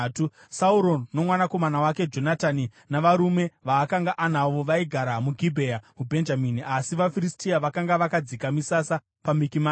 Sauro nomwanakomana wake Jonatani navarume vaakanga anavo, vaigara muGibhea muBhenjamini, asi vaFiristia vakanga vakadzika misasa paMikimashi.